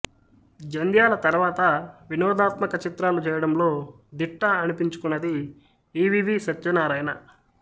జంథ్యాల తర్వాత వినోదాత్మక చిత్రాలు చేయడంలో దిట్ట అనిపించుకొన్నది ఈవీవీ సత్యనారాయణ